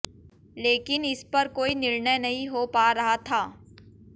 लेकिन इस पर कोई निर्णय नहीं हो पा रहा था